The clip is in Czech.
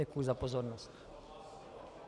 Děkuji za pozornost.